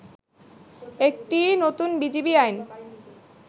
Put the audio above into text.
একটি নতুন বিজিবি আইন